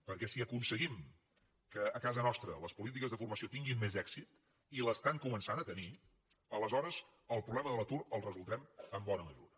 perquè si aconseguim que a casa nostra les polítiques de formació tinguin més èxit i el comencen a tenir aleshores el problema de l’atur el resoldrem en bona mesura